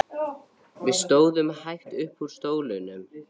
Við stóðum hægt upp úr stólunum.